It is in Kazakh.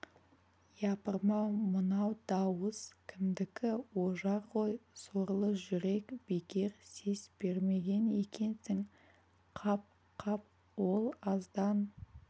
япырмау мынау дауыс кімдікі ожар ғой сорлы жүрек бекер сес бермеген екенсің қап қап ол аздан